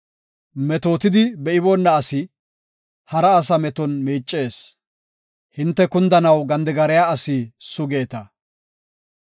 Metootidi be7iboona asi hara asa meton miicees; hinte kundanaw gandigariya asi sugeeta.